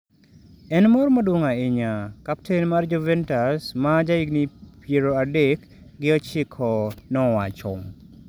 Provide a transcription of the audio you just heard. ""En mor maduong' ahinya,"" kapten mar Juventus ma jahigni pradek gi ochiko nowacho.